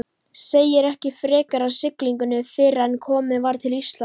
Segir ekki frekar af siglingunni fyrren komið var til Íslands.